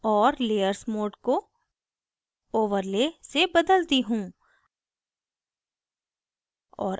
और layers mode को overlay से बदलती हूँ